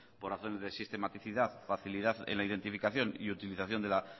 por razones de sistematicidad facilidad en la identificación y utilización de la